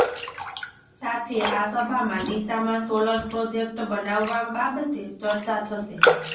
સાથે આ સભામાં ડીસામાં સોલર પ્રોજેકટ બનાવવા બાબતે ચર્ચા થશે